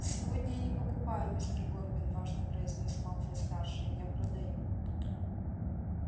сегодня я не покупаю мистер горбин важно произнёс малфой-старший я продаю